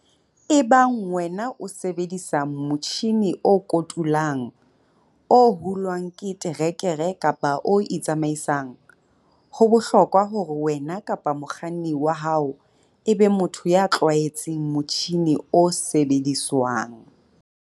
Ebang wena o sebedisa motjhine o kotulang, o hulwang ke terekere kapa o itsamaisang, ho bohlokwa hore wena kapa mokganni wa hao e be motho ya tlwaetseng motjhine o sebediswang.